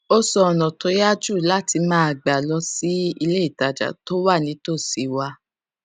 ó sọ ònà tó yá jù láti máa gbà lọ sí iléìtajà tó wà nítòsí wa